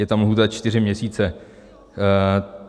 Je tam lhůta čtyři měsíce.